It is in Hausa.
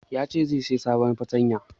Yace zai saya sabon fartanya